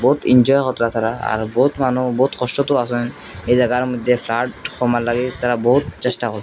বহুত আর বহুত মানু বহুত কষ্টতো আসেন এই জায়গার মদ্যে ফ্লাড কমার লাগে তারা বহুত চেষ্টা হ--